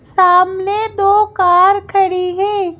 सामने दो कार खड़ी हैं।